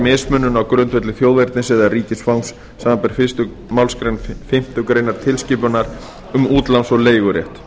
mismunun á grundvelli þjóðernis eða ríkisfangs samanber fyrstu málsgrein fimmtu grein tilskipunar um útláns og leigurétt